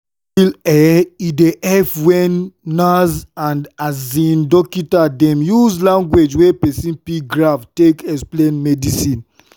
for real eh e dey epp wen nurse and um dokita dem use lanugauge wey pesin fit grab take explain medicine.